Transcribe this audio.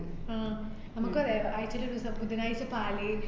ഉം നമുക്ക് ആഹ് ആഴ്ചേല് ഒരു ദിവസം ബുധനാഴ്‌ച്ച പാല്